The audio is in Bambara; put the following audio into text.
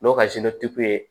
N'o ka ye